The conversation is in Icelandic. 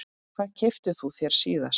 Hvað keyptir þú þér síðast?